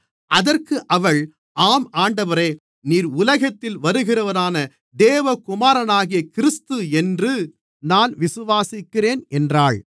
அதற்கு அவள் ஆம் ஆண்டவரே நீர் உலகத்தில் வருகிறவரான தேவகுமாரனாகிய கிறிஸ்து என்று நான் விசுவாசிக்கிறேன் என்றாள்